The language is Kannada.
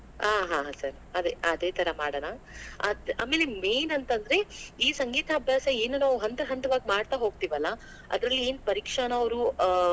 ಆಹ್ ಹಾ sir ಅದೇ ಅದೇ ತರಾ ಮಾಡೋಣಾ, ಆಮೇಲೆ main ಅಂತಂದ್ರೆ ಈ ಸಂಗೀತಾಭ್ಯಾಸ ಏನು ನಾವೂ ಹಂತ ಹಂತವಾಗಿ ಮಾಡ್ತಾ ಹೋಗ್ತೀವಲಾ ಅದರಲ್ಲಿ ಏನ್ ಪರೀಕ್ಷೆನಾ ಅವ್ರು ಆ,